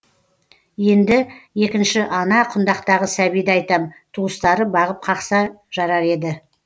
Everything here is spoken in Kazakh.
енді екінші ана құндақтағы сәбиді айтам туыстары бағып қақса жарар еді